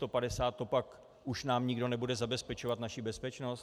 To nám pak už nikdo nebude zabezpečovat naši bezpečnost?